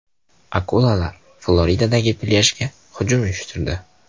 Akulalar Floridadagi plyajga hujum uyushtirdi .